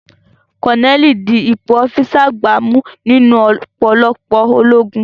Kọ́nẹ́ẹ̀lì di ipò ọ́físà àgbà mú nínú ọ̀pọ̀lọpọ̀ ológun